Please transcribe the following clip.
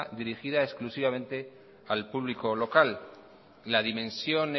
dirigida exclusivamente al público local la dimensión